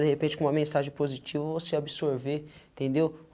De repente, com uma mensagem positiva, você absorver, entendeu?